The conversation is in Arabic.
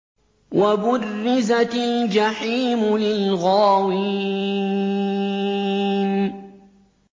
وَبُرِّزَتِ الْجَحِيمُ لِلْغَاوِينَ